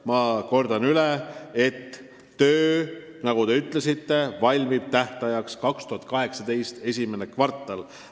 Ma kordan üle: nagu te ütlesite, aruanne valmib 2018. aasta esimeses kvartalis.